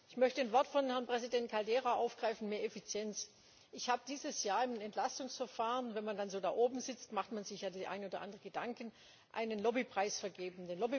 Ich möchte ein Wort von Herrn Präsident Caldeira aufgreifen mehr Effizienz. Ich habe dieses Jahr im Entlastungsverfahren wenn man dann so da oben sitzt, macht man sich den einen oder anderen Gedanken einen Lobbypreis vergeben.